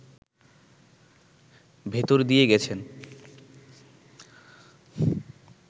ভেতর দিয়ে গেছেন